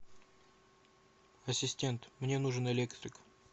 ассистент мне нужен электрик